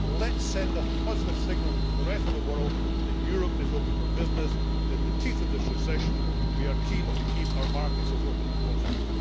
Let us send a positive signal to the rest of the world that Europe is open for business and that, in the teeth of this recession, we are keen to keep our markets as open as possible.